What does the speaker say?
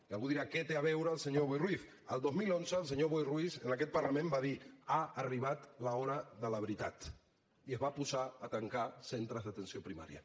i algú dirà què hi té a veure el senyor boi ruiz el dos mil onze el senyor boi ruiz en aquest parlament va dir ha arribat l’hora de la veritat i es va posar a tancar centres d’atenció primària